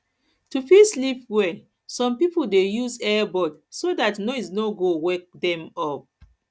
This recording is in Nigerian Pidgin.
to to fit sleep well some pipo dey use ear buds so dat noise no go wake dem up